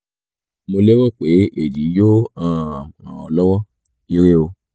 mo lérò pe eyi yoo um ran ọ lọwọ ire o